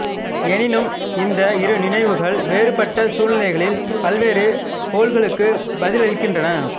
எனினும் இந்த இரு நினைவுகள் வேறுபட்ட சூழ்நிலைகளில் பல்வேறு கோல்களுக்கு பதிலளிக்கின்றன